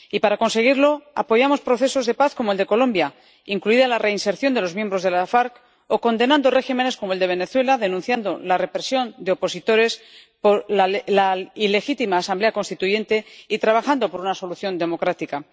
Y para conseguirlo, apoyamos procesos de paz como el de Colombia, incluida la reinserción de los miembros de la FARC, o condenando regímenes como el de Venezuela, denunciando la represión de opositores por la ilegítima Asamblea Constituyente, y trabajando por una solución democrática.